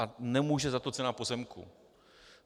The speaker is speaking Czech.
A nemůže za to cena pozemků.